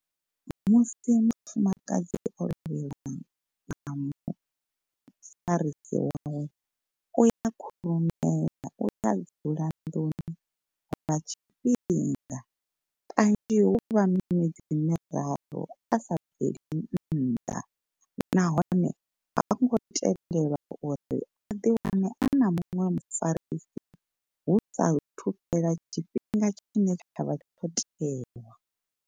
Musi mufumakadzi o lovheliwa nga mu farisi wawe uya khurumela uya dzula nḓuni lwa tshifhinga. Kanzhi huvha miṅwedzi miraru a sa bveli nnḓa, nahone ha ngo tendelwa uri a ḓi wane ana muṅwe mufarisi hu sa thu fhela tshifhinga tshine tshavha tsho tewa.